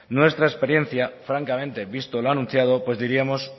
nuestra experiencia francamente visto lo anunciado pues diríamos